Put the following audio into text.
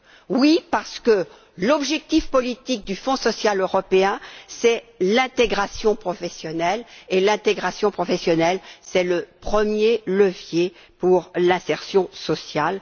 Oui, car l'objectif politique du Fonds social européen, c'est l'intégration professionnelle et l'intégration professionnelle, c'est le premier levier pour l'insertion sociale.